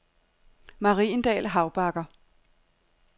Mariendal Havbakker